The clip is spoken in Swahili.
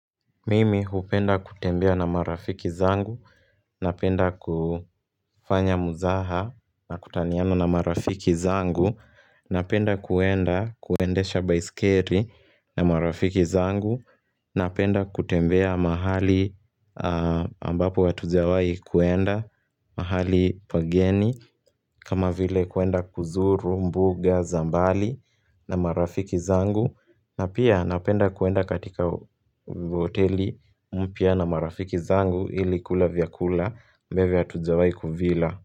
Mimi hupenda kutembea na marafiki zangu, napenda kufanya mzaha na kutaniana na marafiki zangu, napenda kuenda kuendesha baiskeli na marafiki zangu, napenda kutembea mahali ambapo hatujawai kuenda mahali pageni kama vile kuenda kuzuru, mbuga, za mbali na marafiki zangu na pia napenda kuenda katika hoteli, mpya na marafiki zangu ili kula vyakula, ambayo hatujawai kuvila.